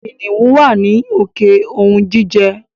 Kìnìún wá ní òkè ounjijẹ.